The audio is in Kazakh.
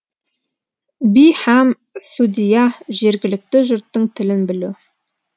би һәм судья жергілікті жұрттың тілін білу